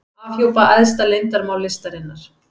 Afhjúpa æðsta leyndarmál listarinnar